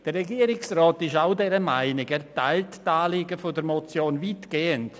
Der Regierungsrat ist derselben Meinung und teilt die Anliegen der Motion weitgehend.